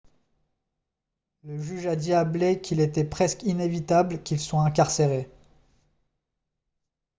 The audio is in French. le juge a dit à blake qu'il était « presque inévitable » qu'il soit incarcéré